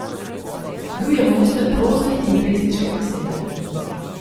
Bil je mojster prozne in pesniške besede.